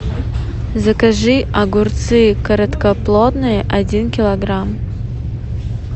закажи огурцы короткоплодные один килограмм